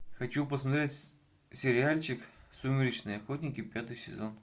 хочу посмотреть сериальчик сумеречные охотники пятый сезон